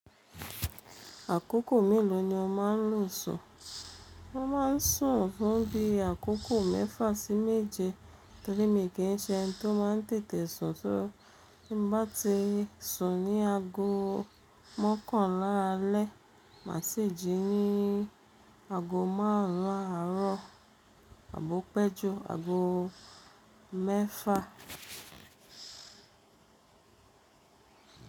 Àkókò mélòó ni o má ń lò sùn? Mo má ń sùn fún bí i àkókò mẹ́fà sí méje torí mí kì í ṣe ẹni tó má ń tètè sùn, só ti báa ti sùn ní aago mọ́kànlá alẹ́, mà sì jí ní aago márùn ún àárọ̀ àbo péjú aago mẹ́fà.